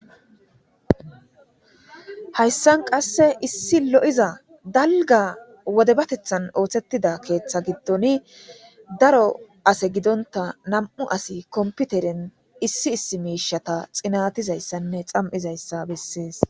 hayssan qasse issi lo'iza dalga wodebatethan ooththettida keeththa giddon daro ase gidonta nam'u asi komputeren issi issi miishata xinatizayssanne xam'izayssa bessees